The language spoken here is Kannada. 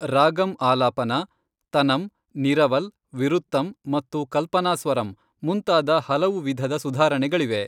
ರಾಗಂ ಆಲಾಪನ, ತನಂ, ನಿರವಲ್, ವಿರುತ್ತಂ ಮತ್ತು ಕಲ್ಪನಾಸ್ವರಂ ಮುಂತಾದ ಹಲವು ವಿಧದ ಸುಧಾರಣೆಗಳಿವೆ.